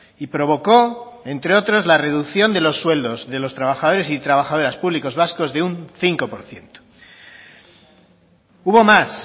y provocó entre otras la reducción de los sueldos de los trabajadores y trabajadoras públicos vascos de un cinco por ciento hubo más